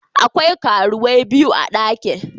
Akwai karuwai biyu a dakin.